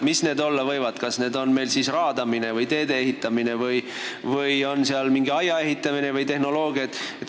Mis need olla võivad, kas raadamine, teede ehitamine või on seal mingi aia ehitamine või tehnoloogia?